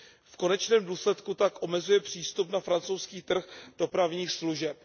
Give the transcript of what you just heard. V konečném důsledku tak omezuje přístup na francouzský trh dopravních služeb.